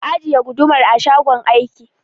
Ka ajiye gudumar a shagon aiki